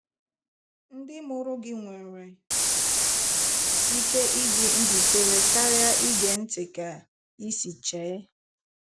Ndị mụrụ gị nwere ike ịdị njikere karịa ige ntị ka ịsi chee.